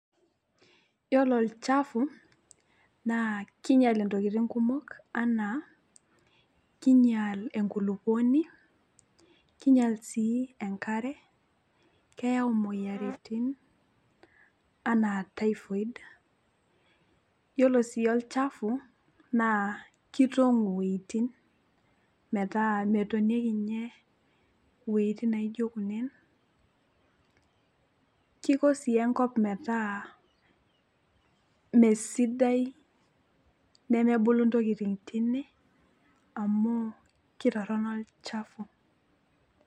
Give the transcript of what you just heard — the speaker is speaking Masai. iyiolo olchafu naa king'ial intokitin kuok anaa, king'ial enkulupuoni, king'ial sii enare, keyau imoyiaritin, anaa typhoid iyiolo sii olchafu, naa kitong'u iwuejitin metaa metonieki ninye iwuejitin neijo kunene. keiko sii enkop metaa mesidai, nemebulu ntokitin teine amu kitorono olchafu.